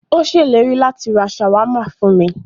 Ó ṣèlérí láti rá ṣàwámà fún mí.